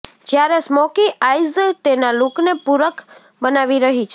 જ્યારે smoky eyes તેના લુકને પૂરક બનાવી રહી છે